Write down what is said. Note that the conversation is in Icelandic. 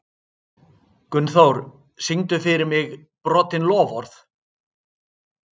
Gunnþór, syngdu fyrir mig „Brotin loforð“.